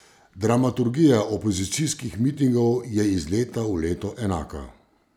Dramaturgija opozicijskih mitingov je iz leta v leto enaka.